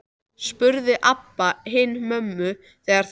spurði Abba hin mömmu þegar þau komu aftur.